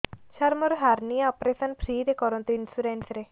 ସାର ମୋର hernia operation free ରେ କରନ୍ତୁ ଇନ୍ସୁରେନ୍ସ ରେ